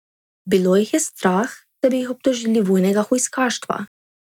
Bilo jih je strah, da bi jih obtožili vojnega hujskaštva.